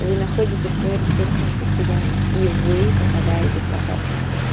вы находите своё ресурсное состояние и вы попадаете в поток